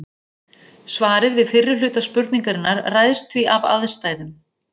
Svarið við fyrri hluta spurningarinnar ræðst því af aðstæðum.